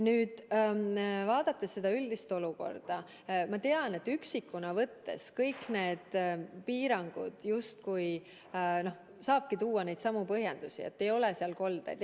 Nüüd vaadates seda üldist olukorda, siis ma tean, et üksikuna võttes saabki kõigi piirangute kohta tuua justkui sama põhjendust, et seal ei ole koldeid.